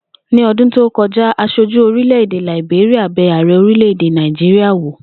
Ní o̩dún tí ó ko̩já, as̩ojú orile-ede Làìbéríà be̩ ààre̩ orílè-èdè Náíjíríà wò